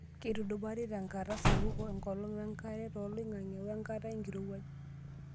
Keitudupari tenkata sapuk ekolong wenkare toloing'ang'e wenkata enkirowuaj.